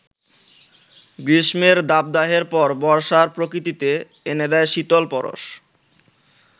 গ্রীষ্মের দাবদাহের পর বর্ষা প্রকৃতিতে এনে দেয় শীতল পরশ।